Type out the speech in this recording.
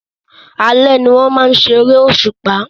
Alẹ́ ni wọ́n máa ń ṣeré òṣùpá